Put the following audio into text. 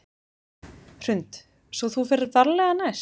Hrund: Svo þú ferð varlega næst?